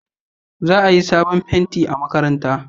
Za a yi sabon fenti a makaranta